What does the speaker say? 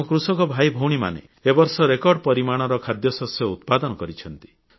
ଆମ କୃଷକ ଭାଇଭଉଣୀମାନେ ଏ ବର୍ଷ ରେକର୍ଡ ପରିମାଣର ଖାଦ୍ୟଶସ୍ୟ ଉତ୍ପାଦନ କରିଛନ୍ତି